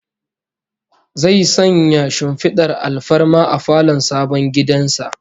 Zai sanya shimfidar alfarma a falon sabon gidan sa